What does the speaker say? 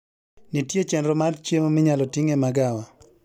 Nitie chenro mar chiemo minyalo ting e magawa